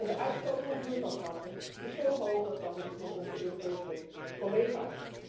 En de uitstoot van broeikasgassen is veel hoger dan die van onze Europese collega's.